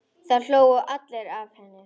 Það hlógu allir að henni.